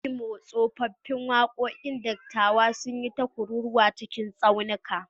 A Imo, tsofaffin waƙoƙin dattawa sun yi ta kururwa cikin tsaunuka.